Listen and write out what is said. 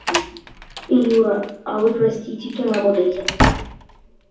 юра а вы простите кем работаете